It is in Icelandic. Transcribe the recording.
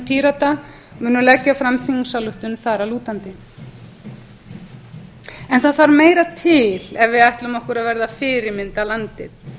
pírata munu leggja fram þingsályktun þar að lútandi en það þarf meira til ef við ætlum okkur að vera fyrirmyndarlandið